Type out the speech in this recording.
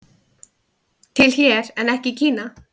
Til hér en ekki í Kína